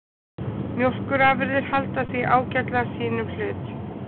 Mjólkurafurðir halda því ágætlega sínum hlut